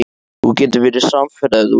Þú getur verið samferða ef þú vilt.